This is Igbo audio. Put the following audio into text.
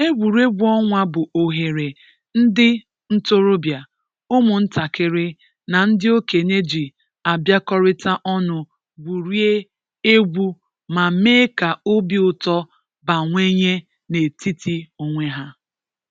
Egwuregwu ọnwa bụ oghere ndị ntorobia, ụmụntakịrị na ndị okenye ji abịakọrịta ọnụ gwurie egwu ma mee ka obi ụtọ bawanye n’etiti onwe ha.